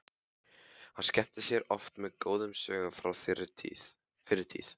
Hann skemmti mér oft með góðum sögum frá fyrri tíð.